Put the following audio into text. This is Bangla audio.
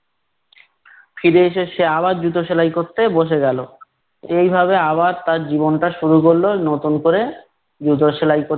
ফিরে এসে সে আবার জুতো সেলাই করতে বসে গেলো। এইভাবে আবার তার জীবনটা শুরু করলো নতুন ক'রে, জুতো সেলাই ক